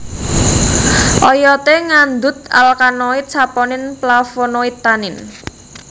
Oyodé ngandhut alkaloid saponin flavonoid tanin